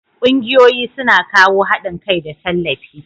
Kungiyoyi su na kawo haɗin kai da tallafi.